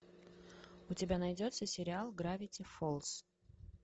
у тебя найдется сериал гравити фолз